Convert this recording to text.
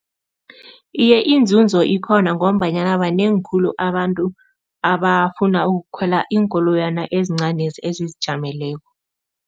Iye, inzunzo ikhona ngombanyana banengi khulu abantu abafuna ukukhwela iinkoloyana ezincanezi ezizijameleko.